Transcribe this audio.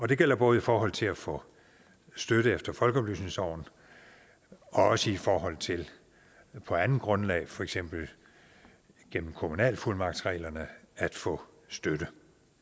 det gælder både i forhold til at få støtte efter folkeoplysningsloven og også i forhold til på andet grundlag for eksempel gennem kommunalfuldmagtsreglerne at få støtte